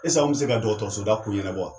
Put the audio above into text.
an mi se ka dɔkɔtɔrɔsoda ko ɲɛnabɔ wa ?